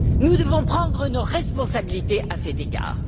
Nous devons prendre nos responsabilités à cet égard.